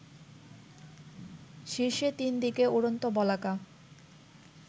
শীর্ষে ৩ দিকে উড়ন্ত বলাকা